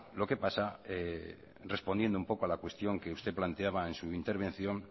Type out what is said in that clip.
lo que pasa respondiendo un poco a la cuestión que usted planteaba en su intervención